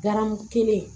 Garamu kelen